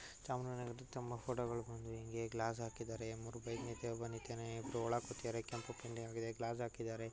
ಚಾಮರಾಜ್ ನಗರದ್ ತುಂಬಾ ಫೋಟೋಗಳು ಬಂದು ಇಂಗೇ ಗ್ಲಾಸ್ ಆಕಿದರೆ ಮೂರು ಬೈಕ್ ನಿಂತಿವೆ ಒಬ್ಬ ನಿಂತಿದಾನೆ ಇಬ್ರು ಒಳಗ್ ಕೂತಿದರೆ ಕೆಂಪು ಪಿಂಡಿಯಂಗಿದೆ ಗ್ಲಾಸ್ ಆಕಿದರೆ .